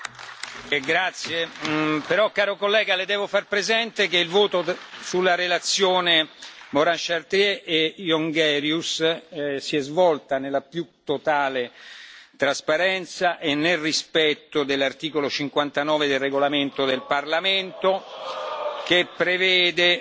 Grazie, però caro collega Le devo far presente che il voto sulla relazione Morin Chartier e Jongerius si è svolto nella più totale trasparenza e nel rispetto dell'articolo 59 del regolamento del Parlamento, che prevede che